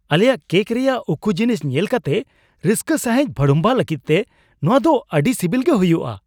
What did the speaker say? ᱟᱞᱮᱭᱟᱜ ᱠᱮᱠ ᱨᱮᱭᱟᱜ ᱩᱠᱩ ᱡᱤᱱᱤᱥ ᱧᱮᱞ ᱠᱟᱛᱮ ᱨᱟᱹᱥᱠᱟᱹ ᱥᱟᱹᱦᱤᱡ ᱵᱷᱟᱹᱲᱩᱢᱵᱷᱟᱜᱚᱜ ᱞᱟᱹᱜᱤᱫᱛᱮ, ᱱᱚᱶᱟ ᱫᱚ ᱟᱹᱰᱤ ᱥᱤᱵᱤᱞ ᱜᱮ ᱦᱩᱭᱩᱜᱼᱟ ᱾